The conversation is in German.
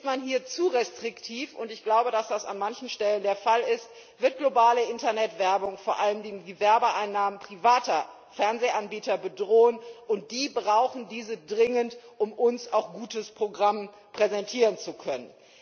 Ist man hier zu restriktiv ich glaube, dass das an manchem Stelle der Fall ist und wird globale Internetwerbung vor allen Dingen die Werbeeinnahmen privater Fernsehanbieter bedrohen, und die brauchen diese dringend, um uns auch gutes Programm präsentieren zu können.